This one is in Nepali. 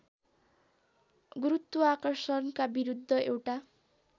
गुरुत्वार्षणका विरुद्ध एउटा